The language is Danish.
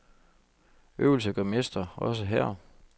Øvelse gør mester, også her.